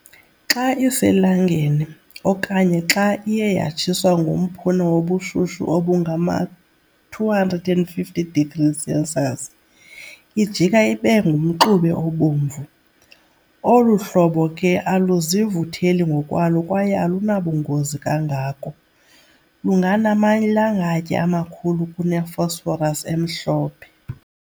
Xa iselangeni, okanye xa iye yatshiswa ngomphuna wobushushu obu ngama-250 degrees Celsius, ijika ibe ngumxube obomvu. Olu hlobo ke aluzivutheli ngokwalo kwaye alunabungozi kangako, lungenamalangatye amakhulu kune-phosphorus emhlophe.